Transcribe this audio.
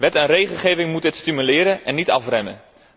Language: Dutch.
Wet en regelgeving moeten dit stimuleren en niet afremmen.